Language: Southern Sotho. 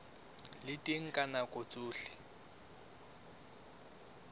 le teng ka nako tsohle